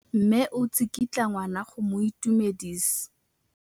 Mme o tsikitla ngwana go mo itumedisa.